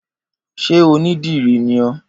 Ṣé onídìrí ni ọ́?